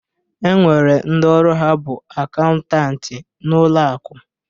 E nwere ndi ọrụ ha bụ akaụntanti n'ụlọ akụ